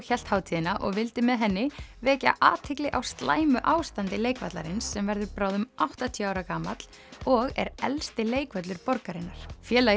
hélt hátíðina og vildi með henni vekja athygli á slæmu ástandi leikvallarins sem verður bráðum áttatíu ára gamall og er elsti leikvöllur borgarinnar félagið